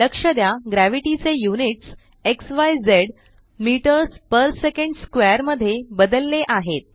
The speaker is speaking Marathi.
लक्ष द्या ग्रॅव्हिटी चे यूनिट्स झिझ मीटर्स पेर सेकंड स्क्वेअर मध्ये बदलले आहेत